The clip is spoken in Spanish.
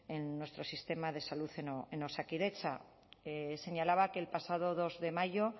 en nuestro sistema de salud en osakidetza señalaba que el pasado dos de mayo